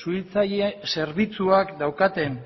suhiltzaile zerbitzuak daukaten